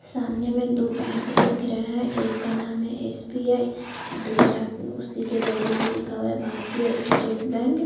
सामने में दो बैंक दिख रहा है एक का नाम है एस.बी.आई. दूसरा उसी के बगल में लिखा हुआ है भारतीय स्टेट बैंक --